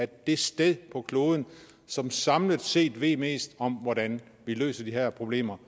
det sted på kloden som samlet set ved mest om hvordan vi løser de her problemer